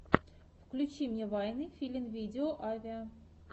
включи мне вайны филинвидео авиа